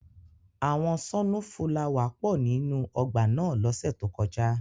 Awọn sọnufulawa pọ ninu ọgba náa lọse to koja.